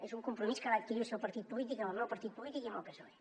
és un compromís que va adquirir el seu partit polític amb el meu partit polític i amb el psoe